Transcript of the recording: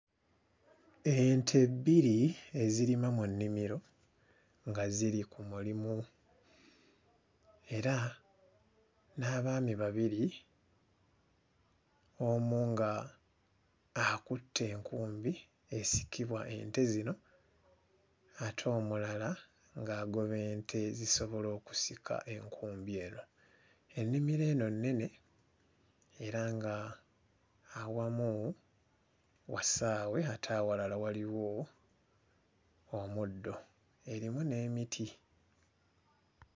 Ente bbiri ezirima mu nnimiro nga ziri ku mulimu era n'abaami babiri omu ng'akutte enkumbi esikibwa ente zino ate omulala ng'agoba ente zisobole okusika enkumbi eno. Ennimiro eno nnene era nga awamu wasaawe ate awalala waliwo omuddo erimu n'emiti.